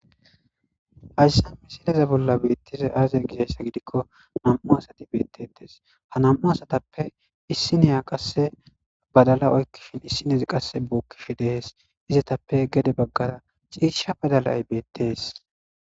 hayssa misileza bolla beettize aaziya gizhayssa gidikko nam7u asati beettetees ha nam7u asatappe issineya qasse badala oykkishin issinezi qasse bookkishi dees izetappe gede baggara ciisha badalay beettees